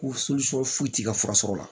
Ko foyi ti ka fura sɔrɔ o la